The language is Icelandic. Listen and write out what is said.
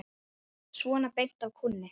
Svona beint af kúnni.